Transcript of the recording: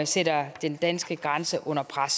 sætter den danske grænse under pres